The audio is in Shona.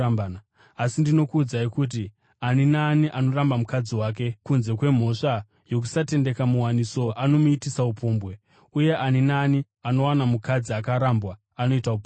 Asi ndinokuudzai kuti ani naani anoramba mukadzi wake kunze kwemhosva yokusatendeka muwaniso anomuitisa upombwe, uye ani naani anowana mukadzi akarambwa anoita upombwe.